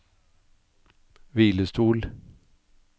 hvilestol